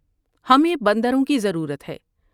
ہمیں بندروں کی ضرورت ہے ۔